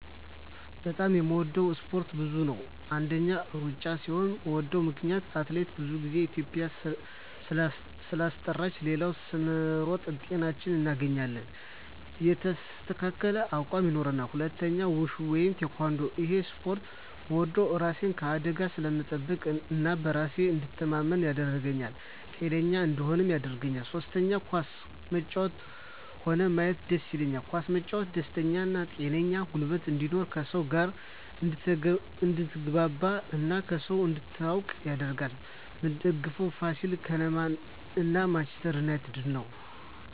በጣም የምወደው እስፓርት ብዙ ነው አንደኛ እሩጫ ሲሆን ምወደው ምክነያት አትሌቶቻችን ብዙ ግዜ ኢትዩጵያን ስላስጠራት ሌላው ስንሮጥ ጤናችን እናገኛለን ሌላው የተስተካከለ አቅም ይኖራል ሁለተኛው ውሹ ወይም ቲካንዶ እሄን እስፖርት ምወደው እራሴን ከአደጋ ስለምጠብቅ እና በራሴ እንድተማመን ያረገኛል ጤነኛ እንድሆንም ያረገኛል ሶስተኛ ኳስ መጫወት ሆነ ማየት ደስ ይለኛል ኳስ መጫወት ደስተኛ ጤነኛ ጉልበት እንድኖር ከሰው ጋር አድትግባባ እና ከሰው እንድትተዋወቅ ያረጋል ምደግፈው ፋሲል ከነማ እና ማንችስተር ነው